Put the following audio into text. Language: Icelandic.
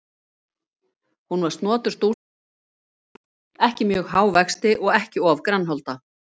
Hún var snotur stúlka með skærrautt hár, ekki mjög há vexti og ekki of grannholda.